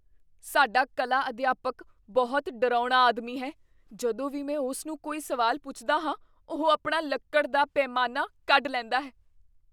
ਸਾਡਾ ਕਲਾ ਅਧਿਆਪਕ ਬਹੁਤ ਡਰਾਉਣਾ ਆਦਮੀ ਹੈ। ਜਦੋਂ ਵੀ ਮੈਂ ਉਸ ਨੂੰ ਕੋਈ ਸਵਾਲ ਪੁੱਛਦਾ ਹਾਂ, ਉਹ ਆਪਣਾ ਲੱਕੜ ਦਾ ਪੈਮਾਨਾ ਕੱਢ ਲੈਂਦਾ ਹੈ।